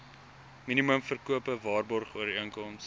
minimum verkope waarborgooreenkoms